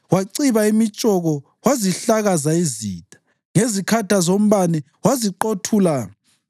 Waciba imitshoko wazihlakaza izitha, ngezikhatha zombane waziqothula.